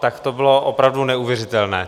Tak to bylo opravdu neuvěřitelné.